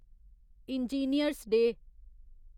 engineers' day